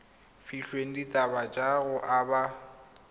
filweng dithata tsa go aba